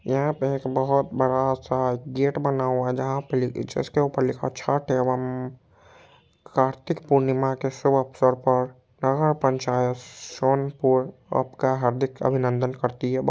यहाँ पे एक बहुत बड़ा सा गेट बना हुआ है जहा पे लि जिसके ऊपर लिखा हुआ है छठ एवं कार्तिक पूर्णिमा के शुभ अवसर पर नगर पंचायत सोनपुर आपका हार्दिक अभिनंदन करती है। ब--